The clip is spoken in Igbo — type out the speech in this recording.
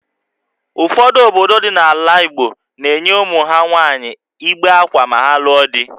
Ụfọdụ obodo dị n’ala Igbo na-enye ụmụ ha nwaanyị igbe akwa ma ha lụọ di